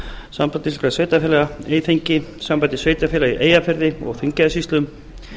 sambandi íslenskra sveitarfélaga eyþingi sambandi sveitarfélaga í eyjafirði og þingeyjarsýslum